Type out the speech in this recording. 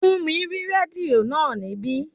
Fúnmi rí rédíò náà níbí